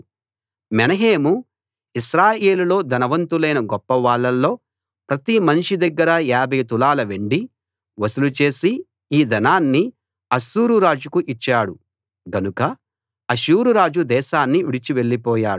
మెనహేము ఇశ్రాయేలులో ధనవంతులైన గొప్పవాళ్ళల్లో ప్రతి మనిషి దగ్గర 50 తులాల వెండి వసూలు చేసి ఈ ధనాన్ని అష్షూరు రాజుకు ఇచ్చాడు గనుక అష్షూరురాజు దేశాన్ని విడిచి వెళ్లిపోయాడు